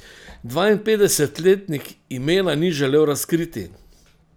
Dvainpetdesetletnik imena ni želel razkriti.